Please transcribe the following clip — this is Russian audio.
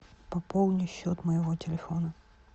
пополни счет моего телефона